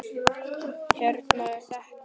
Hérna er þetta!